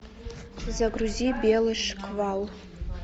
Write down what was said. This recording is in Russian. загрузи белый шквал